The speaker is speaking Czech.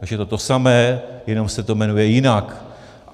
Takže to je to samé, jenom se to jmenuje jinak.